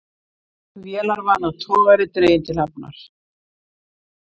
Vélarvana togari dreginn til hafnar